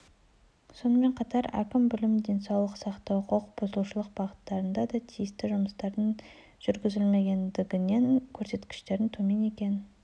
сонымен қатар әкім білім денсаулық сақтау құқық бұзушылық бағыттарында да тиісті жұмыстардың жүргізілмегендігінен көрсеткіштердің төмен екенін